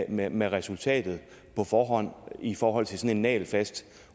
inde med resultatet på forhånd i forhold til sådan en nagelfast